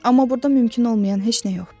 Amma burda mümkün olmayan heç nə yoxdur.